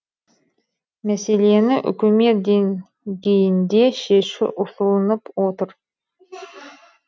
мәселені үкімет деңгейінде шешу ұсынылып отыр